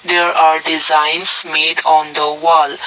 there are designs made on the wall.